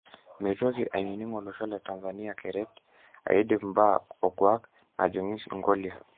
Meitoki anining olosho le Tanzania keret aidip mbaa okwak najungi ngolia?